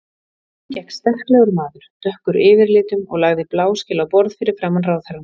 Inn gekk sterklegur maður, dökkur yfirlitum og lagði bláskel á borð fyrir framan ráðherrann.